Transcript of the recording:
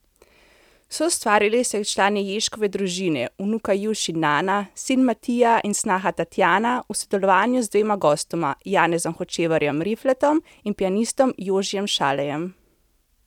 Soustvarili so jih člani Ježkove družine, vnuka Juš in Nana, sin Matija in snaha Tatjana v sodelovanju z dvema gostoma, Janezom Hočevarjem Rifletom in pianistom Jožijem Šalejem.